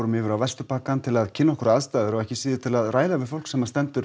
yfir á Vesturbakkann til að kynna okkur aðstæður og ekki síður til að ræða við fólk sem stendur